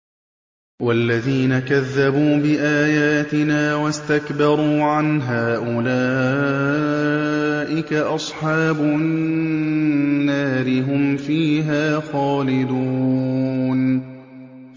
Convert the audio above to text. وَالَّذِينَ كَذَّبُوا بِآيَاتِنَا وَاسْتَكْبَرُوا عَنْهَا أُولَٰئِكَ أَصْحَابُ النَّارِ ۖ هُمْ فِيهَا خَالِدُونَ